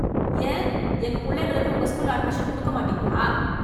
ஏன், எங்க புள்ளைங்களுக்கு உங்க ஸ்கூல்ல அட்மிஷன் குடுக்க மாட்டிங்களா?